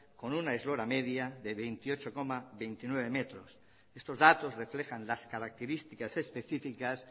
con una eslora media de veintiocho coma veintinueve metros estos datos reflejan las características específicas